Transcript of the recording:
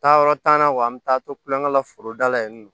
Taayɔrɔ t'an na wa an bɛ taa to kulonkɛ la foroda la yen nɔ